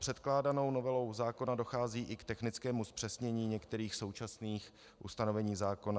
Předkládanou novelou zákona dochází i k technickému zpřesnění některých současných ustanovení zákona.